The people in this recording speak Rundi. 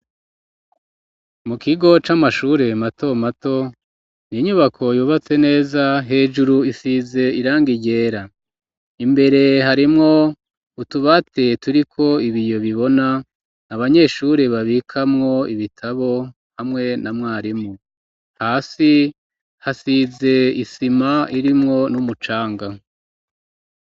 Mu kigo c'amashure mato mato ni inyubako yubatse neza hejuru isize iranga ryera ,imbere harimwo utubati turiko ibiyo bibona abanyeshure babikamwo ibitabo hamwe na mwarimu, hasi hasize isima irimwo n'umucanga.